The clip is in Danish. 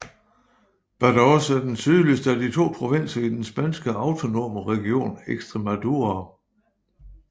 Badajoz er den sydligste af de to provinser i den spanske autonome region Extremadura